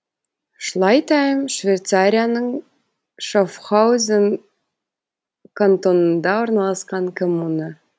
шлайтайм швейцарияның шаффхаузен кантонында орналасқан коммуна